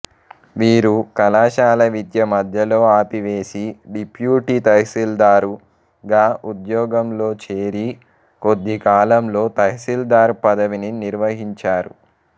వీరు కళాశాల విద్య మధ్యలో ఆపివేసి డిప్యూటీ తాసీల్దారు గా ఉద్యోగంలో చేరి కొద్దికాలంలో తహసీల్దారు పదవిని నిర్వహించారు